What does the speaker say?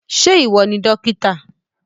Ṣé ìwọ ni dókítà?